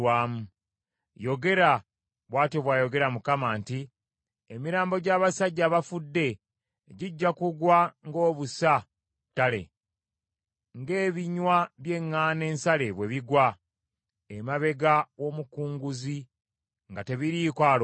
“Yogera,” bw’atyo bw’ayogera Mukama nti, “ ‘Emirambo gy’abasajja abafudde gijja kugwa ng’obusa ku ttale ng’ebinywa by’eŋŋaano ensale bwe bigwa emabega w’omukunguzi nga tebiriiko alonda.’ ”